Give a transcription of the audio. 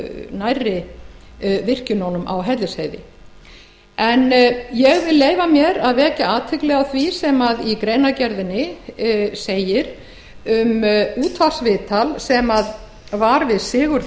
nærri virkjununum á hellisheiði ég vil leyfa mér að vekja athygli á því sem í greinargerðinni segir um útvarpsviðtal við sigurð